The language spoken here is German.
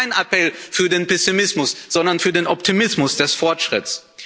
Und das ist kein Appel für Pessimismus, sondern für den Optimismus des Fortschritts.